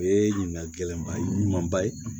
O ye ɲininkali gɛlɛnba ye ɲumanba ye